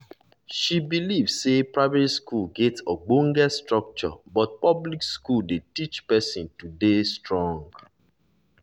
she believe say private school get ogbonge structure but public school dey teach person to dey strong